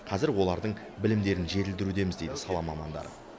қазір олардың білімдерін жетілдірудеміз дейді сала мамандары